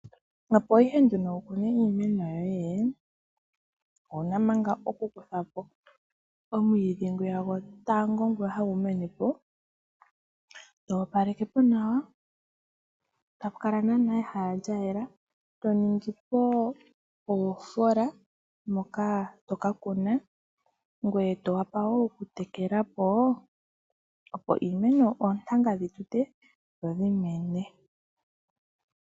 Opo ihe nduno wukune iimeno yoye, owuna manga okukutha po omwiidhi ngwiya gotango ngwiya hagu mene po, toopaleke po nawa tapu kala naana nawa ehala lyayela toningipo oofola moka toka kuna ngweye towapa wo okutekela po opo oontanga dhitute dho dhimene.